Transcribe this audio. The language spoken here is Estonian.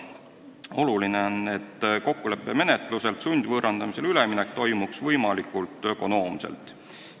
Oluline on, et kokkuleppemenetluselt sundvõõrandamisele üleminek toimuks võimalikult ökonoomselt.